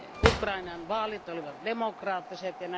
Ukrainan vaalit olivat demokraattiset.